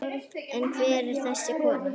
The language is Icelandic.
En hver er þessi kona?